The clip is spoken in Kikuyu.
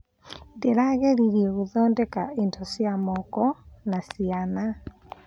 Ndĩrageririe gũthondeka indo cia moko na ciana.